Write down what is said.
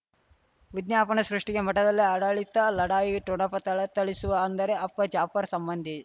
ವಿಜ್ಞಾಪನೆ ಸೃಷ್ಟಿಗೆ ಮಠದಲ್ಲಿ ಆಡಳಿತ ಲಢಾಯಿ ಠೊಣಪ ಥಳಥಳಿಸುವ ಅಂದರೆ ಅಪ್ಪ ಜಾಫರ್ ಸಂಬಂಧಿ